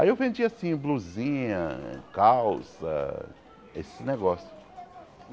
Aí eu vendia assim, blusinha, calça, esse negócio.